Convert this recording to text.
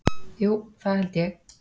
Jú það held ég.